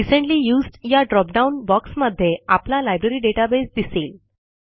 recently used या dropdown बॉक्समध्ये आपला लायब्ररी डेटाबेस दिसेल